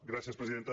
gràcies presidenta